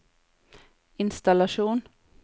innstallasjon